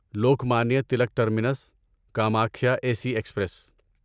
Lokmanya Tilak terminus Kamakhya A C express